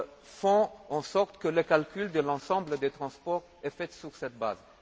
fassent en sorte que le calcul de l'ensemble des transports s'effectue sur cette base.